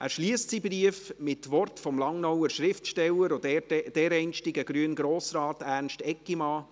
Er schliesst seinen Brief mit Worten des Langnauer Schriftstellers, dem ehemaligen grünen Grossrat Ernst Eggimann: